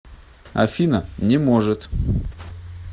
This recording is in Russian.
афина не может